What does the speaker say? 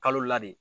Kalo la de